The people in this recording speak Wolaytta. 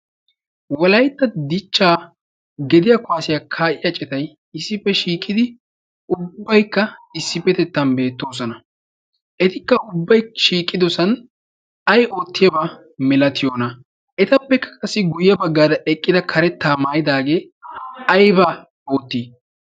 walaytta dichchaa gediya kuwaasiyaa kaa'iya citai issippe shiiqidi ubbaikka issippetettan beettoosana. etikka ubbai shiiqidosan ay oottiyaabaa. milatiyoona etappekka qassi guyye baggaada eqqida karettaa maayidaagee ayba oottii?